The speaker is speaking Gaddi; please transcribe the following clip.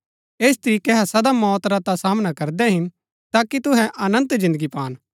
ऐस तरीकै अहै सदा मौत रा ता सामना करदै हिन ताकि तुहै अनन्त जिन्दगी पान